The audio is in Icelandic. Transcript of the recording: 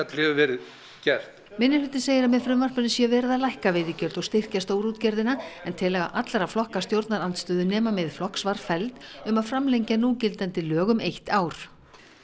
til hefur verið gert minnihlutinn segir að með frumvarpinu sé verið að lækka veiðigjöld og styrkja stórútgerðina en tillaga allra flokka stjórnarandstöðu nema Miðflokks var felld um að framlengja núgildandi lög um eitt ár